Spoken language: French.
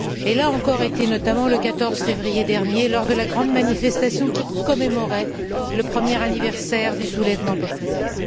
Elle était encore là le 14 février dernier, lors de la grande manifestation qui commémorait le premier anniversaire du soulèvement populaire.